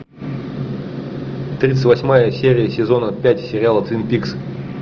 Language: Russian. тридцать восьмая серия сезона пять сериала твин пикс